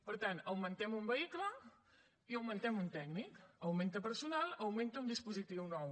per tant augmentem un vehicle i augmentem un tècnic augmenta personal augmenta un dispositiu nou